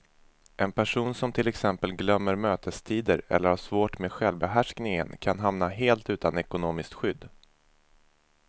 En person som till exempel glömmer mötestider eller har svårt med självbehärskningen kan hamna helt utan ekonomiskt skydd.